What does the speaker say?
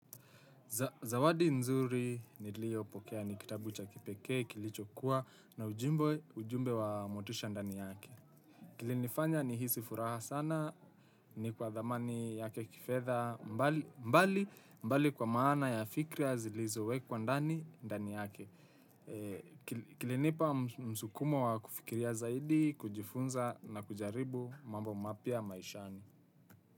Zawadi nzuri ni lio pokea ni kitabu cha kipekee, kilicho kuwa na ujumbe wa motisha ndani yake. Kili nifanya ni hisi furaha sana ni kwa dhamani yake kifedha mbali kwa maana ya fikra ya zilizowe kwa ndani ndani yake. Kili nipa msukumo wa kufikiria zaidi, kujifunza na kujaribu mambo mapia maishani.